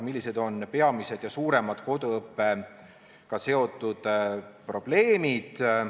Millised on peamised ja suuremad koduõppega seotud probleemid?